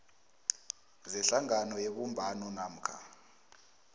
zehlangano yebumbano namkha